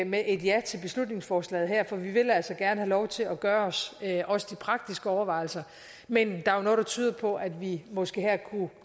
med et ja til beslutningsforslaget her for vi vil altså gerne have lov til at gøre os også de praktiske overvejelser men der er jo noget der tyder på at vi måske her kunne